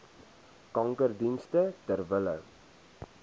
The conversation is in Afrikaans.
kankerdienste ter wille